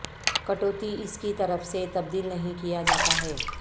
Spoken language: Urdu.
کٹوتی اس کی طرف سے تبدیل نہیں کیا جاتا ہے